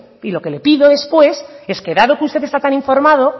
y lo que le pido después es que dado que usted está tan informado